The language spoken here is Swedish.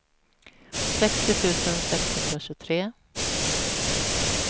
sextio tusen sexhundratjugotre